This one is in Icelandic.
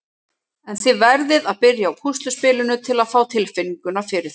En þið verðið að byrja á púsluspilinu til að fá tilfinninguna fyrir þessu.